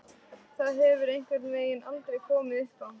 Það hefur einhvern veginn aldrei komið uppá.